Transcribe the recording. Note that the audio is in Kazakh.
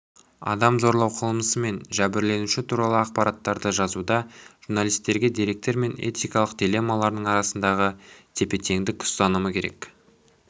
адам зорлау қылмысы мен жәбірленуші туралы ақпараттарды жазуда журналистерге деректер мен этикалық дилеммалардың арасындағы тепе-теңдік ұстанымы керек